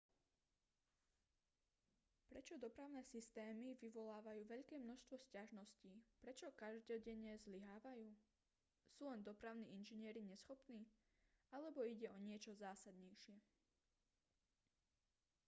prečo dopravné systémy vyvolávajú veľké množstvo sťažností prečo každodenne zlyhávajú sú len dopravní inžinieri neschopní alebo ide o niečo zásadnejšie